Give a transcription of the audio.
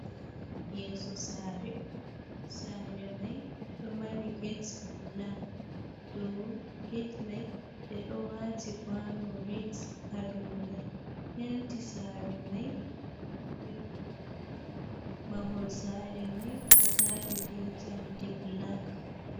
Yeso sare, sare mai ɗo mari gate balak, dow gate mai ɓe ɗo wati kwano rat ha dow mai, penti sare mai yelo, mahol sare mai ɗo tari be jamde balak.